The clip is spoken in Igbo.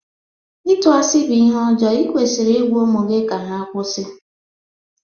Itụ asị bụ ihe ọjọọ ikwesiri ịgwa ụmụ gị ka ha kwụsị.